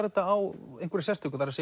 þetta á einhverju sérstöku það